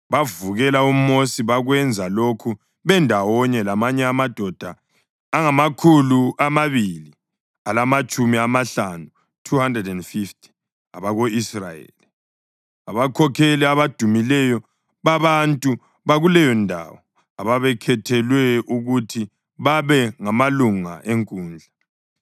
bavukela uMosi. Bakwenza lokhu bendawonye lamanye amadoda angamakhulu amabili alamatshumi amahlanu (250) ako-Israyeli, abakhokheli abadumileyo babantu bakuleyondawo ababekhethelwe ukuthi babe ngamalunga enkundla.